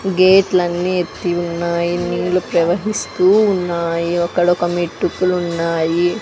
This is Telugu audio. గేట్ లన్నీ ఎత్తి ఉన్నాయి నీళ్లు ప్రవహిస్తూ ఉన్నాయి అక్కడ ఒక మెట్టుకులు ఉన్నాయి.